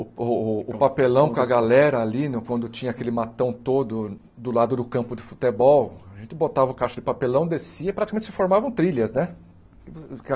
O o o papelão com a galera ali, quando tinha aquele matão todo do lado do campo de futebol, a gente botava o caixa de papelão, descia e praticamente se formavam trilhas, né?